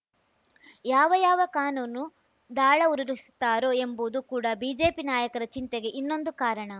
ಯಾವ ಯಾವ ಕಾನೂನು ದಾಳ ಉರುಳಿಸುತ್ತಾರೋ ಎಂಬುದು ಕೂಡ ಬಿಜೆಪಿ ನಾಯಕರ ಚಿಂತೆಗೆ ಇನ್ನೊಂದು ಕಾರಣ